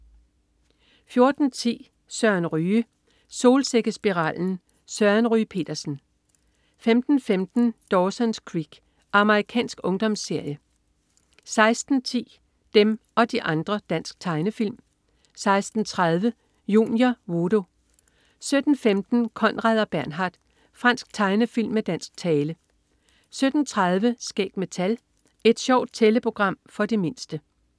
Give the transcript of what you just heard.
14.10 Søren Ryge. Solsikkespiralen. Søren Ryge Petersen 15.15 Dawson's Creek. Amerikansk ungdomsserie 16.10 Dem og de andre. Dansk tegnefilm 16.30 Junior. Voodoo 17.15 Konrad og Bernhard. Fransk tegnefilm med dansk tale 17.30 Skæg med tal. Et sjovt tælleprogram for de mindste